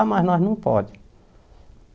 Ah, mas nós não podemos.